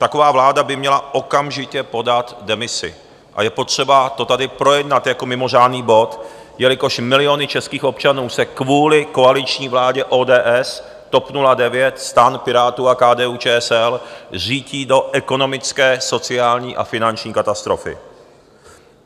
Taková vláda by měla okamžitě podat demisi a je potřeba to tady projednat jako mimořádný bod, jelikož miliony českých občanů se kvůli koaliční vládě ODS, TOP 09, STAN, Pirátů a KDU-ČSL řítí do ekonomické, sociální a finanční katastrofy.